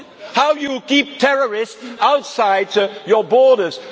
How can you keep terrorists outside your borders?